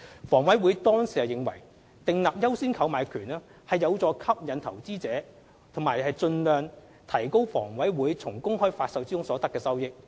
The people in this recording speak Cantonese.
房委會當時認為，訂立"優先購買權"有助吸引投資者和盡量提高房委會從公開發售中所得的收益。